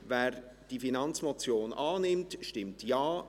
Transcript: Wer diese Finanzmotion annimmt, stimmt Ja.